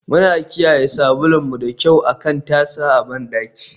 Muna kiyaye sabulun mu da kyau akan tasa a bandaki.